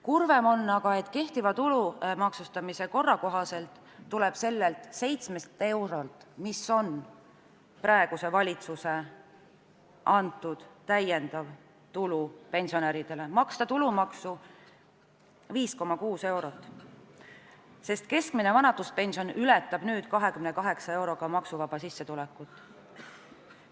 Kurvem on aga, et tulu maksustamise kehtiva korra kohaselt tuleb sellelt 7 eurolt, mis on praeguse valitsuse antud lisatulu pensionäridele, maksta tulumaksu 5,6 eurot, sest keskmine vanaduspension ületab nüüd 28 euroga maksuvaba sissetulekut.